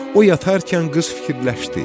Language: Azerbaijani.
O yatarkən qız fikirləşdi.